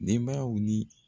Denbayaw ni